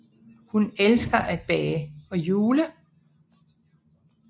Hun elsker at bage og jule